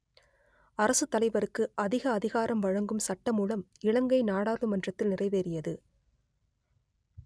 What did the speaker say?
அரசுத்தலைவருக்கு அதிக அதிகாரம் வழங்கும் சட்டமூலம் இலங்கை நாடாளுமன்றத்தில் நிறைவேறியது